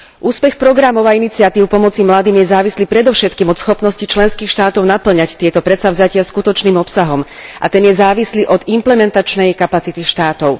Úspech programov a iniciatív pomoci mladým je závislý predovšetkým od schopnosti členských štátov napĺňať tieto predsavzatia skutočným obsahom a ten je závislý od implementačnej kapacity štátov.